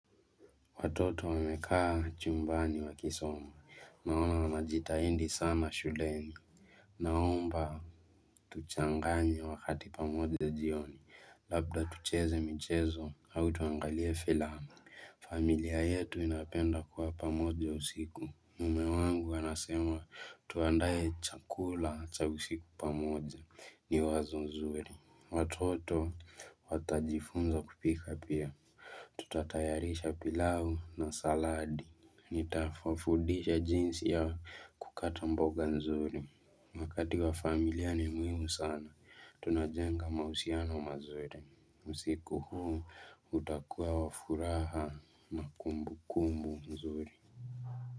Watoto wamekaa chumbani wakisoma, naona wanajitahindi sana shuleni. Naomba, tuchanganye wakati pamoja jioni, labda tucheze michezo, au tuangalie filamu. Familia yetu inapenda kuwa pamoja usiku. Mume wangu anasema, tuandae chakula cha usiku pamoja, ni wazo nzuri. Watoto watajifunza kupika pia. Tutatayarisha pilau na saladi nitawafudisha jinsi ya kukata mboga nzuri Wakati wa familia ni muhimu sana Tunajenga mahusiano mazuri usiku huu utakuwa wa furaha na kumbukumbu nzuri.